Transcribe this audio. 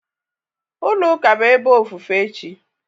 Ulo Ụka bụ ebe ofufe chi.